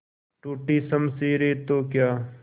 टूटी शमशीरें तो क्या